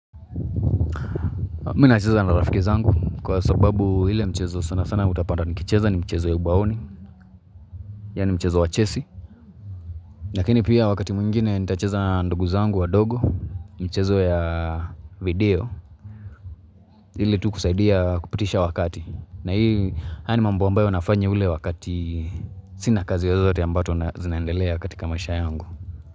Mimi nacheza na rafiki zangu kwa sababu ile mchezo sanasana utapata nikicheza ni mchezo ya ubaoni Yaani mchezo wa chesi lakini pia wakati mwingine nitacheza na ndugu zangu wadogo Mchezo ya video ile tu kusaidia kupitisha wakati na hii haya ni mambo ambayo nafanya ule wakati Sina kazi zozote ambayo zinaendelea katika maisha yangu.